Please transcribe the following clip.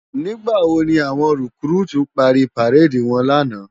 Nigbá wó ni áwòn rikúrútú pári párédi wòn làná?